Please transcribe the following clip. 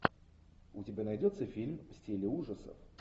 у тебя найдется фильм в стиле ужасов